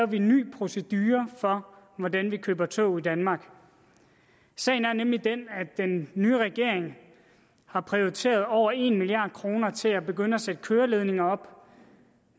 vi en ny procedure for hvordan vi køber tog i danmark sagen er nemlig den at den nye regering har prioriteret over en milliard kroner til at begynde at sætte køreledninger op